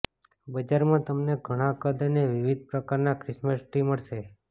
બજારમાં તમને ઘણાં કદ અને વિવિધ પ્રકારના ક્રિસમસ ટ્રી મળશે